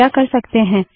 हम क्या कर सकते हैं